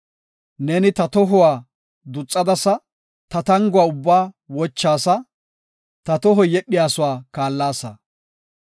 Neeni ta tohuwa duxadasa; ta tanguwa ubbaa wochaasa; ta tohoy yedhiyasuwa kaallasa.